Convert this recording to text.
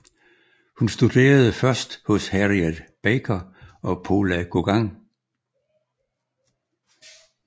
Hun studerede først hos Harriet Backer og Pola Gauguin